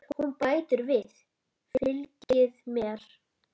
Hún bætir við: Fylgið mér